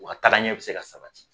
O ka tagaɲɛ bi se ka sabati